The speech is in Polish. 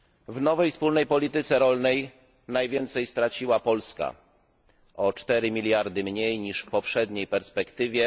W nowej wspólnej polityce rolnej najwięcej straciła Polska dostanie o 4 miliardy mniej niż w poprzedniej perspektywie.